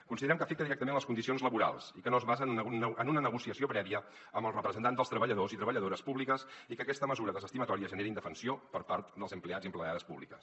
considerem que afecta directament les condicions laborals i que no es basa en una negociació prèvia amb els representants dels treballadors i treballadores públics i que aquesta mesura desestimatòria genera indefensió per part dels empleats i empleades públics